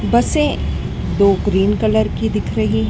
बसें दो green colour की दिख रही--